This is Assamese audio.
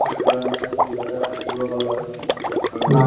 বিষয়ত কিবা নতুন কিবা এটা শিকিব পালো আৰু আৰু